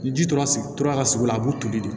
Ni ji tora sigi tora ka sugu la a b'u toli de